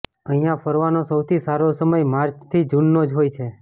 અહિયાં ફરવાનો સૌથી સારો સમય માર્ચ થી જુનનો જ હોય છે